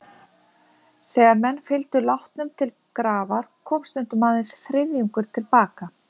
Þegar menn fylgdu látnum til grafar, kom stundum aðeins þriðjungur til baka.